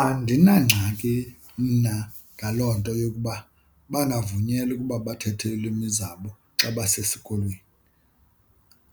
Andinangxaki mna ngaloo nto yokuba bangavunyelwa ukuba bathethe iilwimi zabo xa basesikolweni,